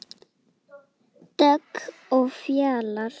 Dögg og Fjalar.